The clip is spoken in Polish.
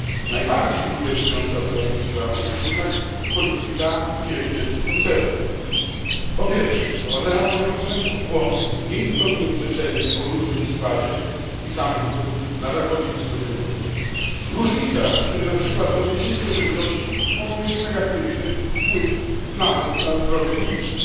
Najbardziej bulwersująca w całej tej sprawie jest jednak polityka wielu wielkich koncernów. Po pierwsze, wprowadzają one konsumentów w błąd, nie informując rzetelnie o różnym składzie tych samych produktów na zachodzie i wschodzie Europy, różnicach, które na przykład w odniesieniu do żywności mogą mieć negatywny wpływ nawet na zdrowie publiczne.